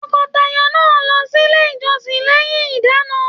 Tọkọtaya náà lọ sílé ìjọsìn lẹyìn ìdána.